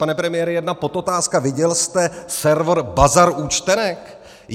Pane premiére, jedna podotázka: Viděl jste server Bazar účtenek?